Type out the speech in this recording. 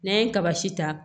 N'an ye kaba si ta